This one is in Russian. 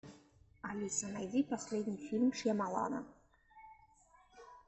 алиса найди последний фильм шьямалана